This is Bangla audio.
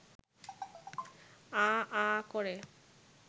আঃ আঃ করে